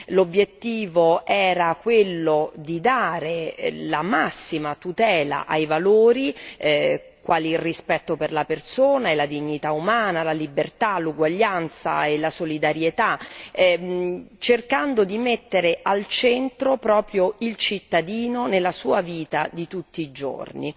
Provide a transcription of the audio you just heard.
L'obiettivo era quello di dare la massima tutela a valori quali il rispetto per la persona, la dignità umana, la libertà, l'uguaglianza e la solidarietà, cercando di mettere al centro proprio il cittadino nella sua vita di tutti i giorni.